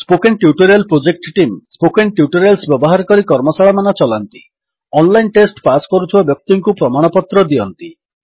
spoken tutorial project team spoken tutorials ବ୍ୟବହାର କରି କର୍ମଶାଳାମାନ ଚଲାନ୍ତି ଅନଲାଇନ୍ ଟେଷ୍ଟ ପାସ୍ କରୁଥିବା ବ୍ୟକ୍ତିଙ୍କୁ ପ୍ରମାଣପତ୍ର ଦିଅନ୍ତି